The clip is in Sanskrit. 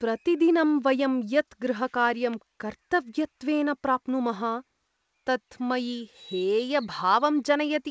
प्रतिदिनं वयं यत् गृहकार्यं कर्तव्यत्वेन प्राप्नुमः तत् मयि हेयभावं जनयति।